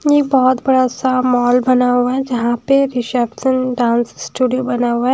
ये एक बहुत बड़ा सा मॉल बना हुआ है जहाँ पे रिसेप्शन डांस स्टूडियो बना हुआ है।